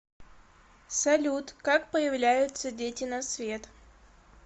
салют как появляются дети на свет